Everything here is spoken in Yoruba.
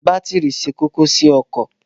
Bátìrì ṣe kókó sí ọkọ̀.